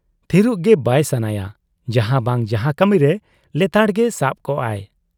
ᱛᱷᱤᱨᱚᱜ ᱜᱮ ᱵᱟᱭ ᱥᱟᱱᱟᱭᱟ ᱡᱟᱦᱟᱸ ᱵᱟᱝ ᱡᱟᱦᱟᱸ ᱠᱟᱹᱢᱤᱨᱮ ᱞᱮᱛᱟᱲ ᱜᱮ ᱥᱟᱵ ᱠᱚᱜ ᱟᱭ ᱾